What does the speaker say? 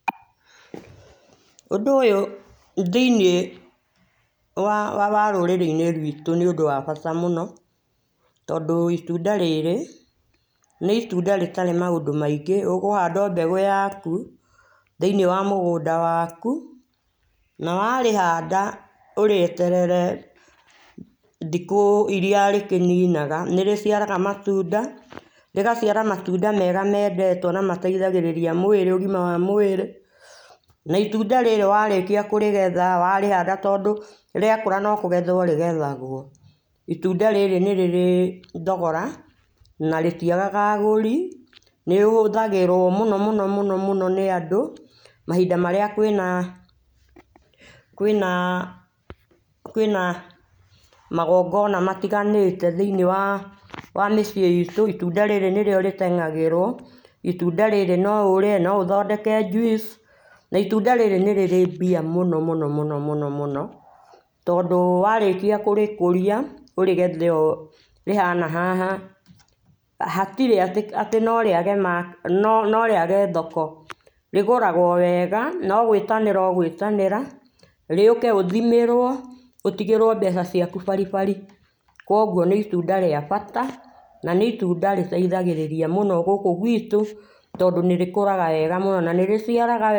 Ũndũ ũyũ thĩinĩ wa wa wa rũrĩrĩ-inĩ rwitũ nĩũndũ wa bata mũno, tondũ itunda rĩrĩ, nĩ itunda rĩtarĩ maũndũ maingĩ. Ũgũhanda o mbegũ yaku thĩinĩ wa mũgũnda waku. Na wa rĩhanda ũrĩeterere thikũ iria rĩkĩninaga. Nĩ rĩgĩciaraga matunda, rĩgaciara matunda mega mendetwo na mateithagĩrĩria mwĩrĩ, ũgima wa mwĩrĩ. Na itunda rĩrĩ warĩkia kũrĩgetha, warĩhanda tondũ, rĩakũra no kũgethwo rĩgethagwo. Itunda rĩrĩ nĩ rĩrĩ thogora na rĩtiagaga agũri. Nĩ rĩhũthagĩrwo mũno mũno mũno mũno nĩ andũ mahinda marĩa kwĩna, kwĩna, kwĩna magongona matiganĩte thĩinĩ wa, wa mĩciĩ itũ, itunda rĩrĩ nĩ rĩo rĩteng'agĩrĩrwo. Itunda rĩrĩ no ũrĩe, no ũthondeke juice, na itunda rĩrĩ nĩ rĩrĩ mbia mũno mũno mũno mũno. Tondũ warĩkia kũrĩkũria ũrĩgethe ũũ rĩhana haha, hatirĩ atĩ atĩ no rĩage , no no rĩage thoko. Rĩgũragwo wega, no gwĩtanĩra ũgwĩtanĩra, rĩũke ũthimĩrwo, ũtigĩrwo mbeca ciaku baribari. Koguo nĩ itunda rĩa bata na itunda rĩteithagĩrĩria mũno gũkũ gwitũ, tondũ nĩrĩkũraga wega mũno na nĩrĩciaraga...